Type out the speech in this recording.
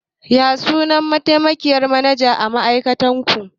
Ya sunan mataimakiyyar manajan ma'aikatar ku?